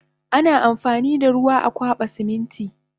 Ana amfanida ruwa amwaba Siminti